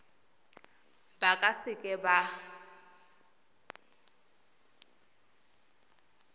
ba ka se ka ba